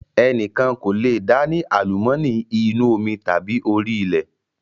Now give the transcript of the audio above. Ẹnikan kò lé dá ni àlùmọ́ọ́nì inú omi tàbí orí ilẹ̀